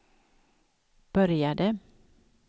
började